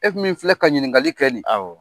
E min filɛ ka ɲininkali kɛ nin ye, awɔ.